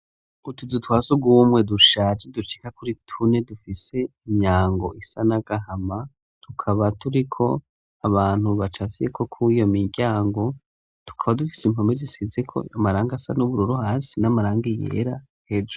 Utuzu twa surwumwe dushaje dushika kuri tune dufise imyango isa n' agahama, tukaba turiko abantu bacafyeko kuriyo miryango, tukaba dufise impome zisizeko amarangi asa n'ubururu hasi n'amarangi yera hejuru.